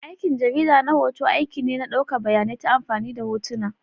Aikin jarida na hoto aiki ne na ɗaukar bayanai ta amfani da hotuna.